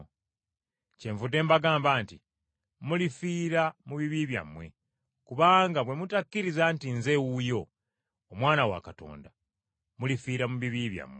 Kyenvudde mbagamba nti mulifiira mu bibi byammwe, kubanga bwe mutakkiriza nti nze wuuyo, Omwana wa Katonda, mulifiira mu bibi byammwe.”